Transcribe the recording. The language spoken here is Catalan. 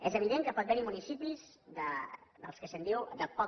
és evident que pot haver hi municipis dels que se’n diu de poca